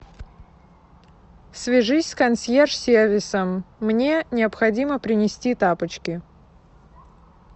свяжись с консьерж сервисом мне необходимо принести тапочки